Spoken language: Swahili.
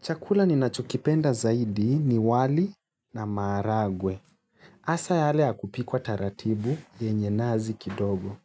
Chakula ninachokipenda zaidi ni wali na maharagwe. Hasa yale ya kupikwa taratibu yenye nazi kidogo.